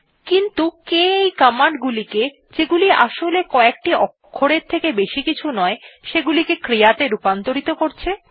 কিন্তু কে এই command গুলিকে যেগুলি আসলে কএকটি অক্ষরের থেকে বেশি কিছু নয় সেগুলিকে ক্রিয়াত়ে রূপান্তর করছে